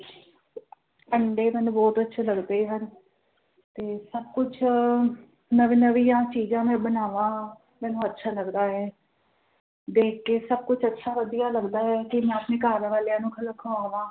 ਅੰਡੇ ਮੈਨੂੰ ਬੋਹੋਤ ਅੱਛੇ ਲੱਗਦੇ ਹਨ ਤੇ ਸਭ ਕੁਝ ਨਵੇਂ ਨਵੀਆਂ ਚੀਜ਼ਾਂ ਮੈਂ ਬਨਾਵਾ ਮੈਨੂੰ ਅੱਛਾ ਲੱਗਦਾ ਹੈ ਦੇਖ ਕੇ ਸਭ ਕੁਝ ਅੱਛਾ ਵਧੀਆ ਲੱਗਦਾ ਹੈ ਤੇ ਮੈਂ ਆਪਣੇ ਘਰ ਵਾਲਿਆਂ ਨੂੰ ਖਿਲਾ ਖੋਆਵਾ